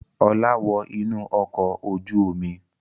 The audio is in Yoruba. Ọlá wọ inú ọkọ̀ ojú-omi!